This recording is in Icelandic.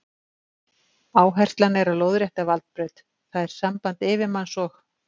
Áherslan er á lóðrétta valdbraut, það er samband yfirmanns og